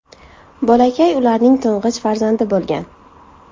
Bolakay ularning to‘ng‘ich farzandi bo‘lgan.